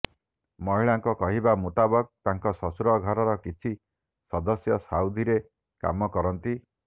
ମହିଳାଙ୍କ କହିବା ମୁତାବକ ତାଙ୍କ ଶ୍ବଶୂର ଘରର କିଛି ସଦସ୍ୟ ସାଉଦୀରେ କାମ କରନ୍ତି